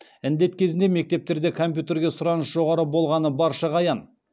індет кезінде мектептерде компьютерге сұраныс жоғары болғаны баршаға аян